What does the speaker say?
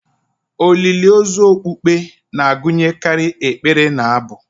Olili ozu okpukpe na-agụnyekarị ekpere na abụ